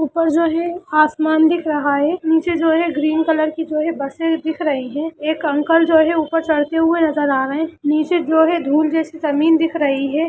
ऊपर जो है आसमान दिख रहा है नीचे जो है ग्रीन कलर की जो ही बसे दिख रही है एक अंकल जो हैऊपर चढ़ते हुए नजर आ रहे नीचे जो है धुल जैसे जमीन दिख रही है।